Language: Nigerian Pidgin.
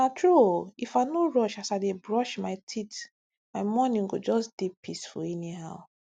na true ooh if i no rush as i dey brush my teeth my mornings go just dey peaceful anyhow